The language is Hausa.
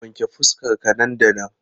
Wanke fuskar ka nan da nan!